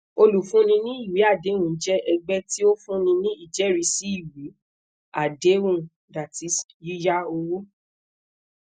olufun ni iwe adehun jẹ ẹgbẹ ti o funni ni ijẹrisi iwe adehun ie yiya owo